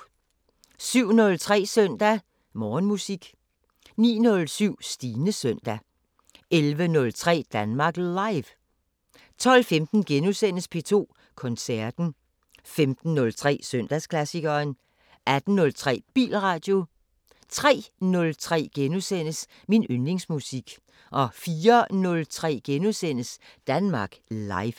07:03: Søndag Morgenmusik 09:07: Stines søndag 11:03: Danmark Live 12:15: P2 Koncerten * 15:03: Søndagsklassikeren 18:03: Bilradio 03:03: Min yndlingsmusik * 04:03: Danmark Live *